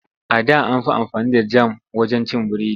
A da an fi amfani da jam wajen cin biredi.